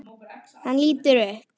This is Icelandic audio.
Hann lítur upp.